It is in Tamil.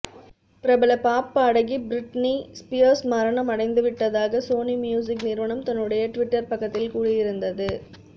பிரபல பாப் பாடகி பிரிட்னி ஸ்பியர்ஸ் மரணம் அடைந்து விட்டதாக சோனி மியூசிக் நிறுவனம் தன்னுடைய டுவிட்டர் பக்கத்தில் கூறியிருந்தது